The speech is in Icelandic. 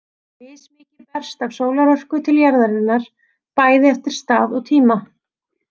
Mismikið berst af sólarorku til jarðarinnar, bæði eftir stað og tíma.